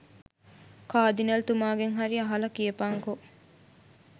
කාදිනල් තුමාගෙන් හරි අහල කියපන්කො.